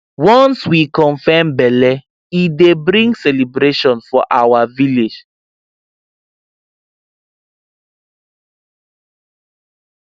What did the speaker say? once we confirm belle e dey bring celebration for our village